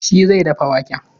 Shi zai dafa waken.